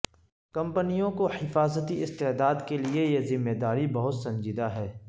کمپنیوں کو حفاظتی استعداد کے لئے یہ ذمہ داری بہت سنجیدہ ہے